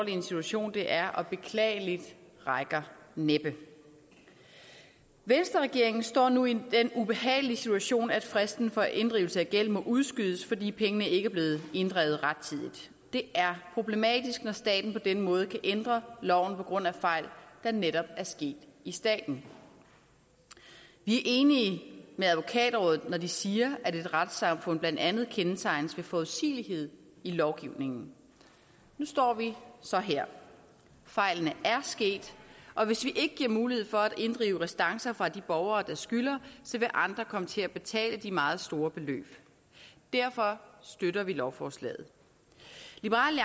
en situation det er og beklageligt rækker næppe venstreregeringen står nu i den ubehagelige situation at fristen for inddrivelse af gæld må udskydes fordi pengene ikke er blevet inddrevet rettidigt det er problematisk når staten på den måde kan ændre loven på grund af fejl der netop er sket i staten vi er enige med advokatrådet når de siger at et retssamfund blandt andet kendetegnes ved forudsigelighed i lovgivningen nu står vi så her fejlene er sket og hvis vi ikke giver mulighed for at inddrive restancer fra de borgere der skylder så vil andre komme til at betale de meget store beløb derfor støtter vi lovforslaget liberal